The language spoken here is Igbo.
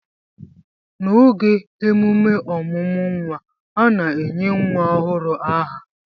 n'oge emume ọmụmụ nwa, a na-enye nwa ọhụrụ aha